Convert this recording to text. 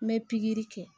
N bɛ pikiri kɛ